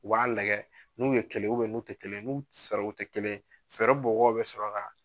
U b'a lagɛ n'u ye kɛlen ubɛ n'u te kelen n'u sariwo te kelen fɛrɛ mɔgɔw be sɔrɔ gaa